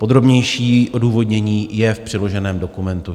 Podrobnější odůvodnění je v přiloženém dokumentu.